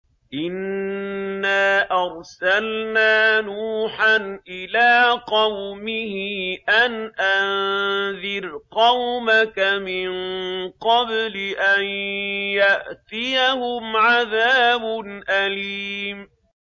إِنَّا أَرْسَلْنَا نُوحًا إِلَىٰ قَوْمِهِ أَنْ أَنذِرْ قَوْمَكَ مِن قَبْلِ أَن يَأْتِيَهُمْ عَذَابٌ أَلِيمٌ